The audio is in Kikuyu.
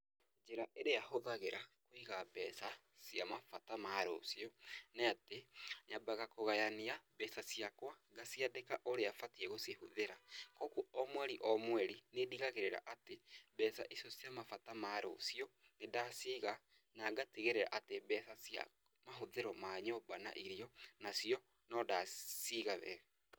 Njĩra ĩrĩa hũthagĩra kũiga mbeca cia mabata ma rũciũ, nĩatĩ, nyambaga kũgayania mbeca ciakwa ngaciandĩka ũria batiĩ gũcihũthĩra, koguo o mweri o mweri nĩndigagĩrĩra atĩ mbeca icio cia mabata ma rũciũ nĩ ndaciga na ngatigĩrĩra atĩ mbeca cia mahũthĩro ma nyũmba na irio, nacio no ndaciga wega.